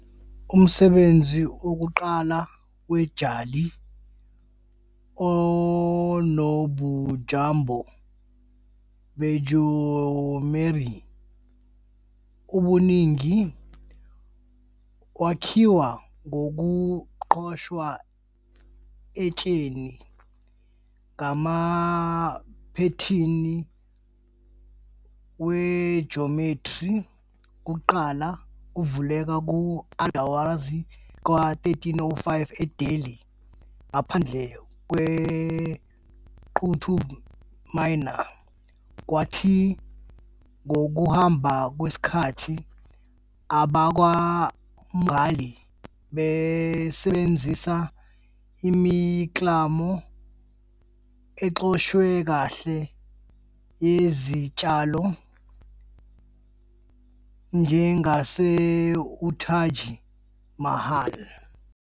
Umsebenzi wokuqala we- "jali onobujamo bejiyometri" obuningi wakhiwa ngokuqoshwa etsheni, ngamaphethini wejometri, \ kuqala kuvela ku- Alai Darwaza ka-1305 eDelhi ngaphandle kweQutub Minar, kwathi ngokuhamba kwesikhathi abakwaMughal basebenzisa imiklamo eqoshwe kahle yezitshalo, njengase UTaj Mahal.